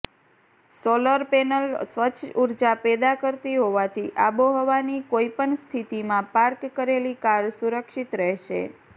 solar panel સ્વચ્છ ઉર્જા પેદા કરતી હોવાથી આબોહવાની કોઇપણ સ્થિતિમાં પાર્ક કરેલી કાર સુરક્ષિત રહેશે